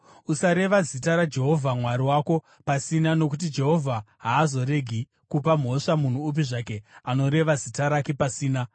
Usareva zita raJehovha Mwari wako pasina nokuti Jehovha haazoregi kupa mhosva munhu upi zvake anoreva zita rake pasina.